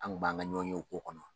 An kun b'an ka ɲɔnyew k'o kɔnɔ.